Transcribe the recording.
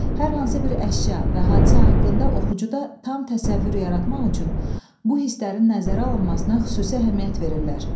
Hər hansı bir əşya və hadisə haqqında oxucuda tam təsəvvür yaratmaq üçün bu hisslərin nəzərə alınmasına xüsusi əhəmiyyət verirlər.